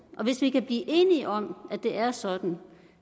hvis vi kan blive enige om at det er sådan